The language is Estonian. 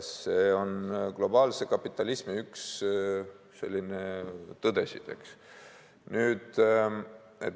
See on üks globaalse kapitalismi tõdesid, eks ole.